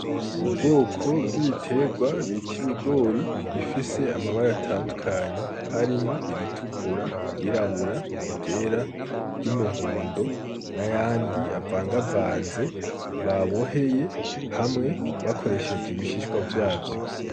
Ubwoko bw'ibiterwa bita ibigori bifise amabara atandukanye, harimwo ibitukura, iryirabura, iry'umuhondo n'ayandi avangavanze baboheye hamwe bakoresheje ibishishwa vyazo.